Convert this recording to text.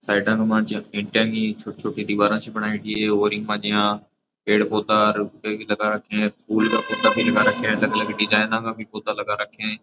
साइडा के माइन जिया इटा की छोटी छोटी दीवारा सी बनायेडी है और इंग मा जिया पेड़ पौधा बे भी लगा रखे है फूल का पौधा लगा रखे है अलग अलग डिजाइना का पौधा लगा राखा है।